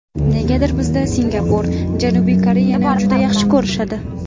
Negadir bizda Singapur, Janubiy Koreyani juda yaxshi ko‘rishadi.